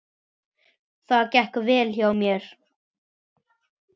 Það gekk vel hjá mér.